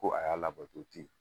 Ko a y'a labɛn